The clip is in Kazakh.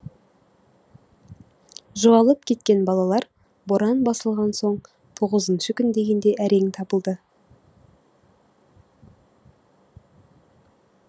жоғалып кеткен балалар боран басылған соң тоғызыншы күн дегенде әрең табылды